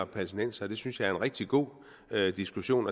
palæstinensere det synes jeg er en rigtig god diskussion